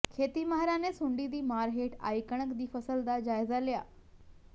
ਖੇਤੀ ਮਾਹਿਰਾਂ ਨੇ ਸੁੰਡੀ ਦੀ ਮਾਰ ਹੇਠ ਆਈ ਕਣਕ ਦੀ ਫ਼ਸਲ ਦਾ ਜਾਇਜ਼ਾ ਲਿਆ